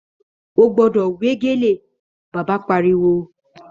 Ó gbọ́dọ̀ wé gèlè, Bàbá Pariwo